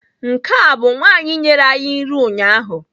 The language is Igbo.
Nke a bu nwanyi nyere anyi nri ụnyaahụ?